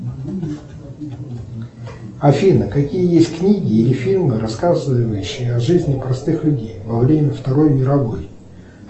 афина какие есть книги или фильмы рассказывающие о жизни простых людей во время второй мировой